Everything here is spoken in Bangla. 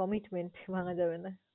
commitment ভাঙা যাবে না।